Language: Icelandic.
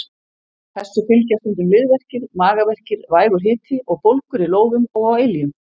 Þessu fylgja stundum liðverkir, magaverkir, vægur hiti og bólgur í lófum og á iljum.